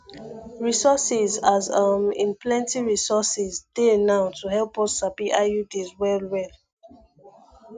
resources as um in plenty resources dey now to help us sabi iuds well well